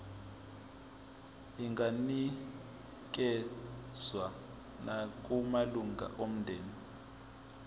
inganikezswa nakumalunga omndeni